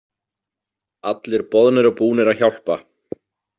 Allir boðnir og búnir að hjálpa.